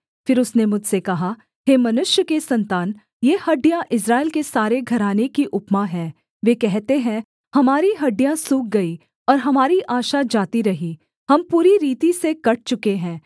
फिर उसने मुझसे कहा हे मनुष्य के सन्तान ये हड्डियाँ इस्राएल के सारे घराने की उपमा हैं वे कहते हैं हमारी हड्डियाँ सूख गई और हमारी आशा जाती रही हम पूरी रीति से कट चूके हैं